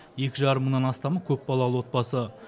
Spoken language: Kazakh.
екі жарым мыңнан астамы көпбалалы отбасы